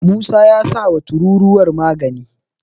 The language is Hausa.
musa ya sa wa tururuwa magani